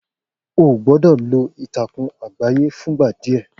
O gbọ́dọ̀ lọ ìtàkùn àgbáyé fún ìgbà díẹ̀